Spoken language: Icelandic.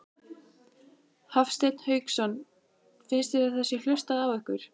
Hafsteinn Hauksson: Finnst þér að það sé hlustað á ykkur?